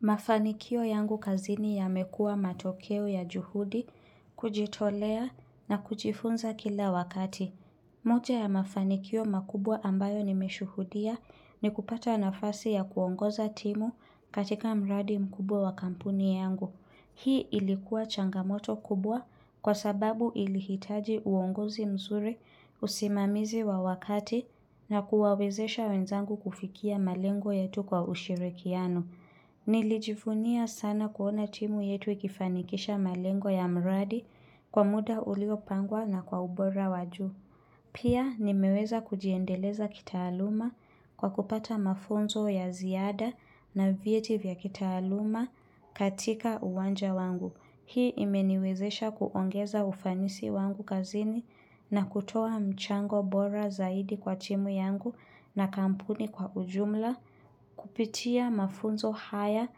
Mafanikio yangu kazini yamekuwa matokeo ya juhudi, kujitolea na kujifunza kila wakati. Moja ya mafanikio makubwa ambayo nimeshuhudia ni kupata nafasi ya kuongoza timu katika mradi mkubwa wa kampuni yangu. Hii ilikuwa changamoto kubwa kwa sababu ilihitaji uongozi mzuri usimamizi wa wakati na kuwawezesha wenzangu kufikia malengo yetu kwa ushirikiano. Nilijivunia sana kuona timu yetu ikifanikisha malengo ya mradi kwa muda uliopangwa na kwa ubora waj uu. Pia nimeweza kujiendeleza kitaaluma kwa kupata mafunzo ya ziada na vyeti vya kitaaluma katika uwanja wangu. Hii imeniwezesha kuongeza ufanisi wangu kazini na kutoa mchango bora zaidi kwa timu yangu na kampuni kwa ujumla, kupitia mafunzo haya,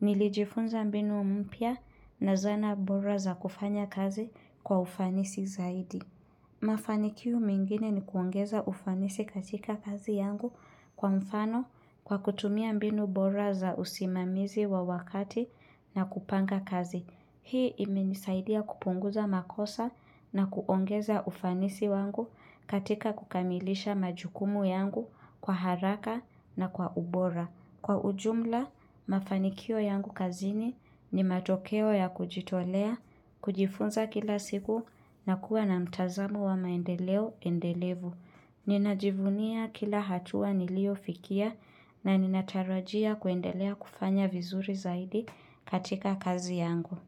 nilijifunza mbinu mpya na zana bora za kufanya kazi kwa ufanisi zaidi. Mafanikio mengine ni kuongeza ufanisi katika kazi yangu kwa mfano kwa kutumia mbinu bora za usimamizi wa wakati na kupanga kazi. Hii imenisaidia kupunguza makosa na kuongeza ufanisi wangu katika kukamilisha majukumu yangu kwa haraka na kwa ubora. Kwa ujumla, mafanikio yangu kazini ni matokeo ya kujitolea, kujifunza kila siku na kuwa na mtazamo wa maendeleo endelevu. Ninajivunia kila hatua niliofikia na ninatarajia kuendelea kufanya vizuri zaidi katika kazi yangu.